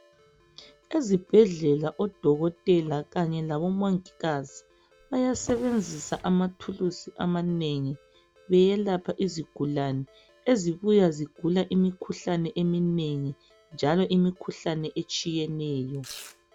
Ezibhedlela odokotela kanye labomongikazi bayasebenzisa amathulusi amanengi beyelapha izigulani ezibuya zigula imikhuhlane eminengi njalo imikhuhlane etshiyeneyo.